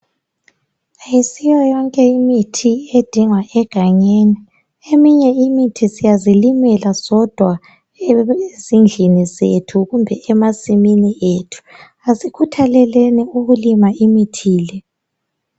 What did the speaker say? Ayisiyo yonke imithi edingwa egangeni. Eminye imithi siyazilimela sodwa ezindlini zethu kumbe emasimini ethu. Asikhuthaleleni ukulima imithi le.